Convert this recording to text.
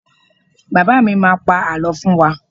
Baba mi má pá àlọ́ fún wá